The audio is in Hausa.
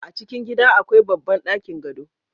a cikin gida akwai babban ɗakin gado